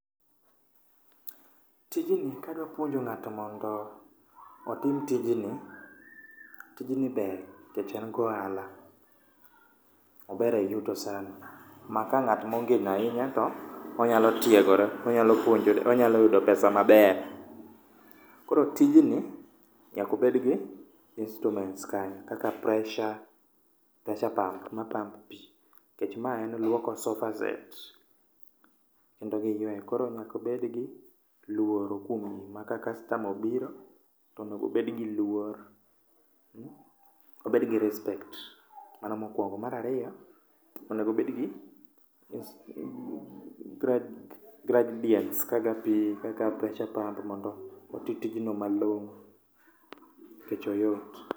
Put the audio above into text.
Tijni kadwa puonjo ng'ato mondo otim tijni, tijni ber nikech en gohala, ober eyuto sana. Maka ng'at mongino ahinya to onyalo tiegore, onyalo puonjore, onyalo yudo pesa maber. Koro tijni nyaka obed gi instruments kanyo. Kaka pressure, pressure pump ma pump pi. Ni mae en luoko sofa set kendo gi yueyo. Koro nyaka obed gi luoro kuom gi ma ka customer obiro to onego obed gi luor, obed gi respect. Mano mokuongo, mar ariyo onego obed gi gigredin kaka pi, kaka pressure pump mondo oti tijno malong‘o nikech oyot.